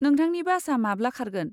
नोंथांनि बासआ माब्ला खारगोन?